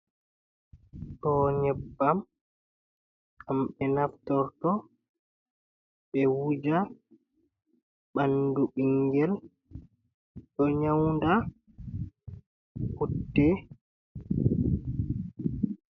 Ɗo nyebbam ɗam ɓe naftorto ɓe wuja bandu ɓingel do nyaunda putte.